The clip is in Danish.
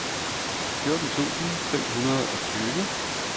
fjorten tusind fem hundrede og tyve